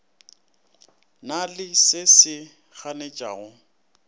na le se se ganetšago